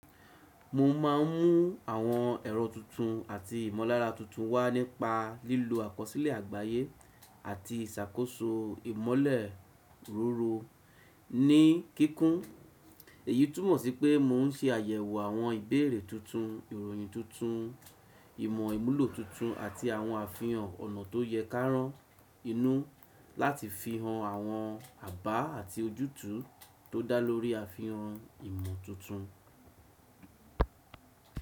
Mo máà ń mú àwọn ẹ̀rọ tuntun àti ìmọ̀lára tuntun wá nípa lílo àkọsílẹ̀ àgbáyé àti ìsàkóso ìmọ̀lẹ̀ òrun ní kíkún. Èyí túmọ̀ sí pé mò ń ṣe àyẹ̀wò àwọn ìbéèrè tuntun, ìròyìn tuntun, ìmọ̀ ìmúlò tuntun àti àwọn àfihàn ọ̀nà tó yẹ káran inú láti fihàn àwọn àbá àti ojútùú tó dá lórí àfihàn ìmọ̀ tuntun.